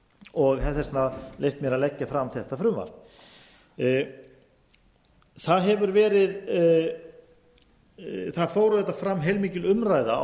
og hef því leyft mér að leggja fram þetta frumvarp það fór auðvitað fram heilmikil umræða á